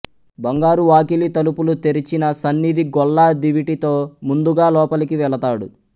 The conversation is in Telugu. బంగారువాకిలి తలుపులు తెరిచిన సన్నిధిగొల్ల దివిటీతో ముందుగా లోపలికి వెళతాడు